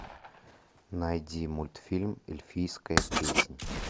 найди мультфильм эльфийская песнь